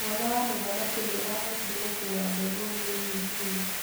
Mwana wa mũthamaki nĩahotire gũkua mbegũ nini nini.